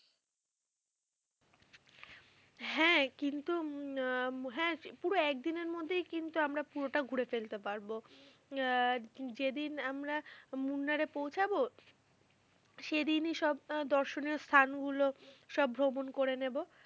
হ্যাঁ কিন্তু হম হ্যাঁ পুরো একদিনের মধ্যেই কিন্তু আমরা পুরোটা ঘুরে ফেলতে পারবো আহ যেদিন আমরা মুনার এ পৌছাবো সেই দিন সব দর্শন এর স্থান গুলো সব ভ্রমণ করে নেবো।